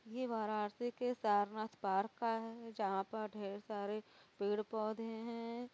ये वाराणसी के सारनाथ पार्क का है जहां पर ढेर सारे पेड़ पौधे हैं।